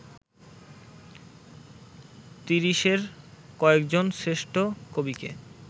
তিরিশের কয়েকজন শ্রেষ্ঠ কবিকে